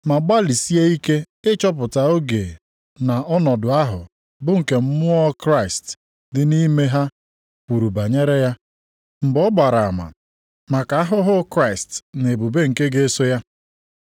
ma gbalịsie ike ịchọpụta oge na ọnọdụ ahụ bụ nke Mmụọ Kraịst dị nʼime ha kwuru banyere ya, mgbe ọ gbara ama maka ahụhụ Kraịst na ebube nke ga-eso ya.